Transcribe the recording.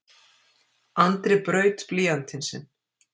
Andri braut blýantinn sinn.